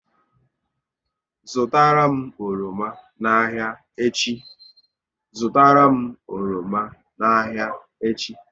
Zụtara m oroma n'ahia echi!